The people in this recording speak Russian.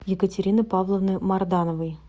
екатерины павловны мардановой